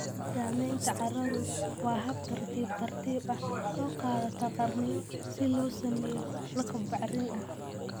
Samaynta carradu waa hab tartiib tartiib ah, oo qaadata qarniyo si loo sameeyo lakab bacrin ah.